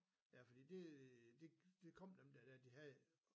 Ja fordi det det det kom dem der de havde